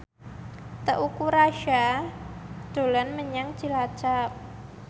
Teuku Rassya dolan menyang Cilacap